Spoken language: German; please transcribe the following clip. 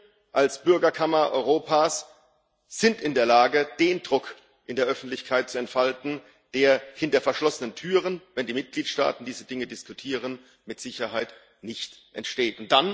Wir als Bürgerkammer Europas sind in der Lage, den Druck in der Öffentlichkeit zu entfalten, der hinter verschlossenen Türen, wenn die Mitgliedstaaten diese Dinge diskutieren, mit Sicherheit nicht entsteht.